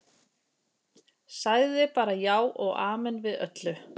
Sagði bara já og amen við öllu.